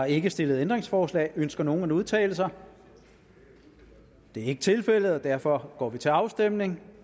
ikke stillet ændringsforslag ønsker nogen at udtale sig det er ikke tilfældet og derfor går vi til afstemning